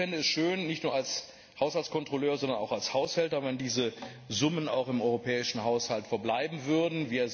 Ich fände es schön nicht nur als Haushaltskontrolleur, sondern auch als Haushälter wenn diese Summen auch im europäischen Haushalt verbleiben würden.